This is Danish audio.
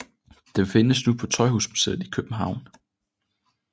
Den findes nu på Tøjhusmuseet i København